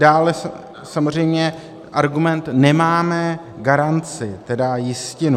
Dále samozřejmě argument - nemáme garanci, tedy jistinu.